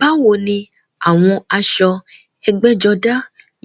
Báwo ni àwọn aṣọ ẹgbẹ́jọdá